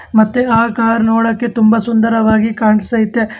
ಮತ್ತೆ ಆ ಕಾರ್ ನೋಡಕ್ಕೆ ತುಂಬ ಸುಂದರವಾಗಿ ಕಾನಸತೈತೆಮ್.